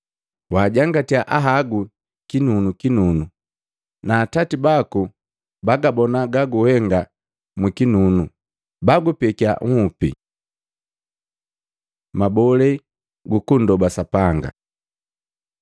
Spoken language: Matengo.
Waajangatya ahagu kinunukinunu, na Atati baku babagabona gaguhenga mukinunu, bagupekiya nhupi. Mabole gukundoba Sapanga Luka 11:2-4